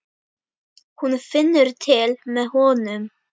Hún finnur til með honum.